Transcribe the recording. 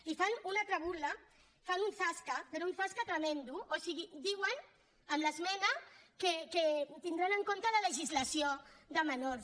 i fan una altra burla fan un zasca però un zasca tremend o sigui diuen amb l’esmena que tindran en compte la legislació de menors